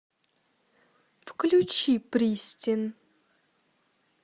включи пристин